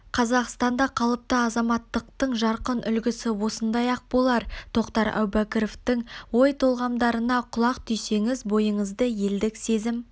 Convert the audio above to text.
қазақстанда қалыпты азаматтықтың жарқын үлгісі осындай-ақ болар тоқтар әубәкіровтің ой-толғамдарына құлақ түрсеңіз бойыңызды елдік сезім